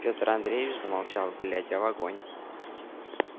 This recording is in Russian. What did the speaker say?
пётр андреевич замолчал глядя в огонь